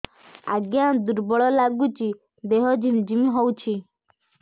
ଆଜ୍ଞା ଦୁର୍ବଳ ଲାଗୁଚି ଦେହ ଝିମଝିମ ହଉଛି